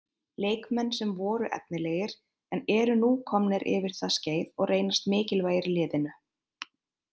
Leikmenn sem voru efnilegir en eru nú komnir yfir það skeið og reynast mikilvægir liðinu.